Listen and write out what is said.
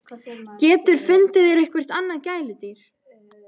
GETUR FUNDIÐ ÞÉR EITTHVERT ANNAÐ GÆLUDÝR!